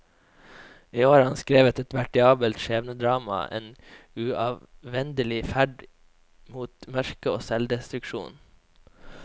I år har han skrevet et veritabelt skjebnedrama, en uavvendelig ferd mot mørke og selvdestruksjon.